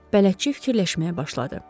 Bələdçi fikirləşməyə başladı.